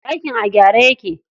Ɗakin a gyare yake.